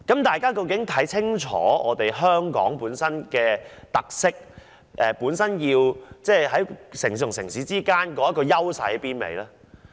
大家究竟是否清楚香港本身的特色，以及在各城市中有何優勢呢？